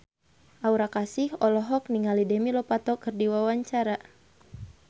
Aura Kasih olohok ningali Demi Lovato keur diwawancara